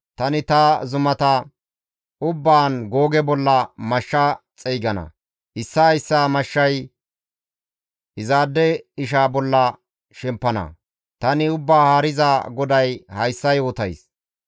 Tani ta zumata ubbaan Googe bolla mashsha xeygana; issaa issaa mashshay izaade isha bolla shempana; tani Ubbaa Haariza GODAY hayssa yootays.